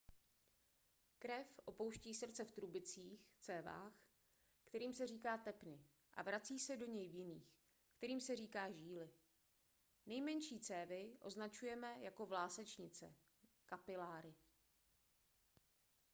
krev opouští srdce v trubicích cévách kterým se říká tepny a vrací se do něj v jiných kterým se říká žíly. nejmenší cévy označujeme jako vlásečnice kapiláry